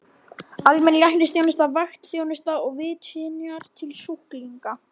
Almenn læknisþjónusta, vaktþjónusta og vitjanir til sjúklinga.